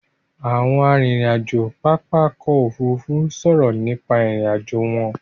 Àwọn arìnrìn-àjò pápá ọkọ̀ Òfurufú sọ̀rọ̀ nípa ìrìn-àjò wọn.